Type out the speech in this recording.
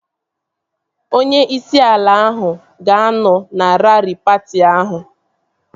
Onye isi ala ahụ ga-anọ na raari patị ahụ